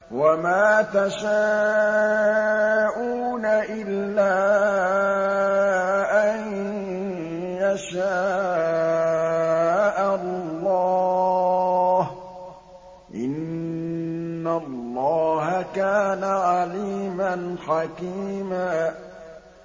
وَمَا تَشَاءُونَ إِلَّا أَن يَشَاءَ اللَّهُ ۚ إِنَّ اللَّهَ كَانَ عَلِيمًا حَكِيمًا